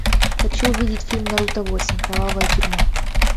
хочу увидеть фильм наруто восемь кровавая тюрьма